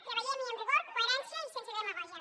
treballem hi amb rigor coherència i sense demagògia